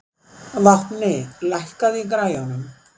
Vápni, lækkaðu í græjunum.